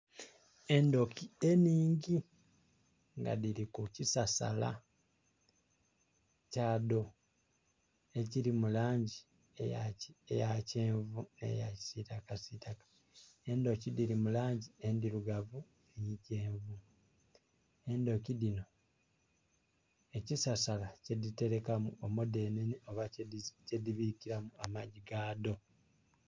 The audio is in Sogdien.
Endhuki enhingi nga dhili ku kisasala kyadho ekili mu langi eya kyenvu nh'eya kisiitakasiitaka, endhuki dhili mu langi endhirugavu nhi kyenvu. Endhuki dhinho ekisasala kyedhitelekamu omudhenene oba kyedhibiikilamu amagi gaadho.